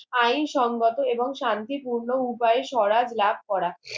আইন সংগঠক এবং শান্তি পূর্ণ উপাইয়ে স্বরাজ ভাব করা